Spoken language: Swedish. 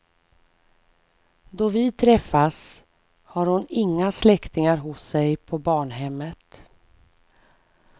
Då vi träffas har hon inga släktingar hos sig på barnhemmet.